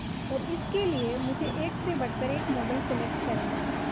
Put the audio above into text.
और इसके लिए मुझे एक से बढ़कर एक मॉडल सेलेक्ट करनी है